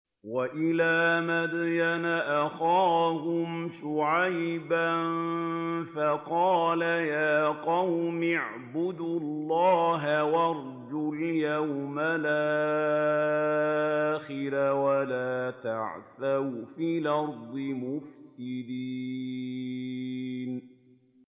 وَإِلَىٰ مَدْيَنَ أَخَاهُمْ شُعَيْبًا فَقَالَ يَا قَوْمِ اعْبُدُوا اللَّهَ وَارْجُوا الْيَوْمَ الْآخِرَ وَلَا تَعْثَوْا فِي الْأَرْضِ مُفْسِدِينَ